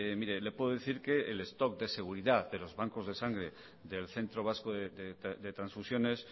le puedo decir que el stock de seguridad de los bancos de sangre del centro vasco de transfusiones